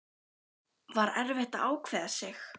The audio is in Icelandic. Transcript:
Heimir: Var erfitt að ákveða sig?